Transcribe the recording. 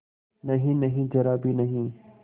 नहींनहीं जरा भी नहीं